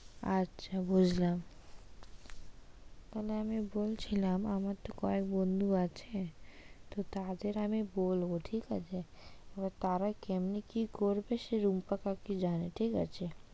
আচ্ছা বুঝলাম। তাহলে আমি বলছিলাম আমার তো কয়েক বন্ধু আছে তো তাদের আমি বলবো ঠিক আছে? এবার তারা কেমনি কি করবে সে রুম্পা কাকি জানে।